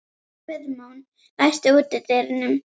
Guðmon, læstu útidyrunum.